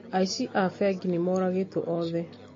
Aici a bengi nĩmoragĩtwo othe